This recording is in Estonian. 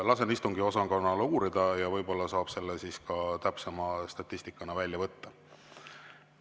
Lasen istungiosakonnal uurida ja võib-olla saab selle täpsema statistika välja võtta.